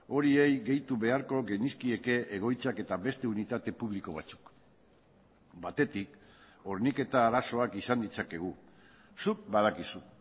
horiei gehitu beharko genizkieke egoitzak eta beste unitate publiko batzuk batetik horniketa arazoak izan ditzakegu zuk badakizu